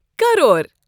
crore